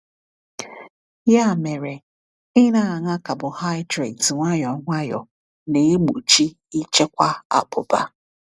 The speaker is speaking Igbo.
Ya mere, ịna-aṅa carbohydrates nwayọ nwayọ na-egbochi ịchekwa abụba.